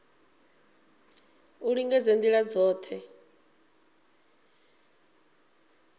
u lingedza nga ndila dzothe